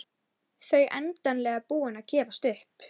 Hann veit að margir hafa rennt hýru auga til hennar.